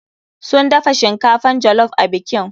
Sun dafa shinkafan jollof a bikin.